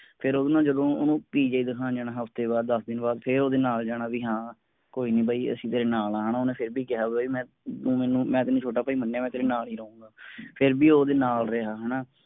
ਫੇਰ ਓਹਨੂੰ ਜਦੋਂ ਓਹਨੂੰ PGI ਦਿਖਾਉਣ ਜਾਣਾ ਹਫਤੇ ਬਾਅਦ ਦਸ ਦਿਨ ਬਾਅਦ ਫੇਰ ਓਹਦੇ ਨਾਲ ਜਾਣਾ ਵੀ ਹਾਂ ਕੋਈ ਨੀ ਬਾਈ ਅਸੀਂ ਤੇਰੇ ਨਾਲ ਹਾਂ ਓਹਨੇ ਫੇਰ ਵੀ ਕਿਹਾ ਬਾਈ ਮੈਂ ਤੂੰ ਮੈਨੂੰ ਮੈਂ ਤੈਂਨੂੰ ਛੋਟਾ ਭਾਈ ਮੰਨਿਆ ਮੈਂ ਤੇਰੇ ਨਾਲ ਹੀ ਰਹੂੰਗਾ। ਫੇਰ ਵੀ ਓਦੇ ਨਾਲ ਰਿਹਾ ਹਣਾ।